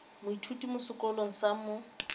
moithuti mo sekolong sa mo